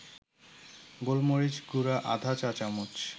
গোলমরিচ গুঁড়া আধা চা-চামচ